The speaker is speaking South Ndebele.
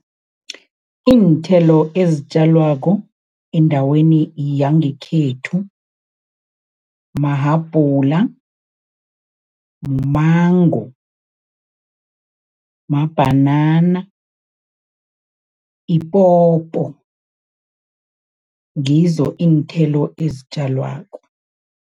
Iinthelo ezitjalwako endaweni yangekhethu mahabhula, mango, mabhanana, ipopo, ngizo iinthelo ezitjalwako.